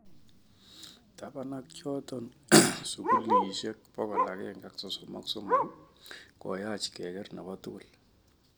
Tapan ak choto sugulisiek 133, koyach keker nepotugul.